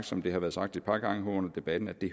som det har været sagt et par gange her under debatten at det